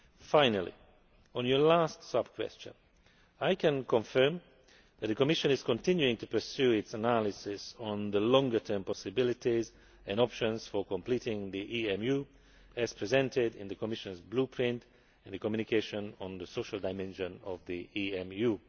Finally, on your last sub question, I can confirm that the Commission is continuing to pursue its analysis on the longer term possibilities and options for completing EMU, as presented in its Blueprint and its communication on the social dimension of EMU.